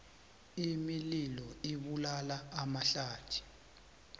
imililo ibulala amahlathi